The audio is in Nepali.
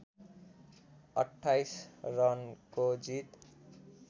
२८ रनको जित